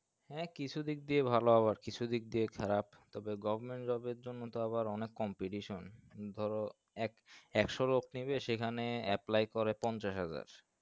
হ্যাঁ কিছু দিক ভালো আবার কিছু দিক দিয়ে খারাপ তবে government job এর জন্য তো অনেক competition ধরো একশো লোক নিবে সেখানে apply পঞ্চাশ হাজার